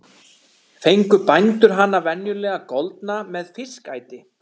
Fengu bændur hana venjulega goldna með fiskæti.